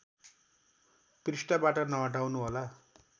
पृष्ठबाट नहटाउनुहोला